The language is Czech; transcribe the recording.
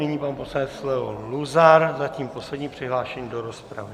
Nyní pan poslanec Leo Luzar, zatím poslední přihlášený do rozpravy.